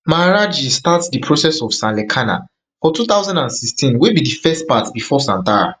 maharaj ji start di process of sanlekhana for two thousand and sixteen wey be di first part bifor santhara